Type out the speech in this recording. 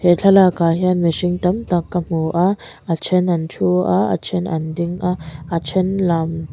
he thlalak ah hian mihring tam tak ka hmu a a then an thu a a then an ding a a then lam --